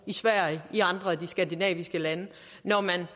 sverige i andre af de skandinaviske lande når man